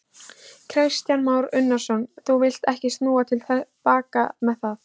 Kristján Már Unnarsson: Þú villt ekki snúa til baka með það?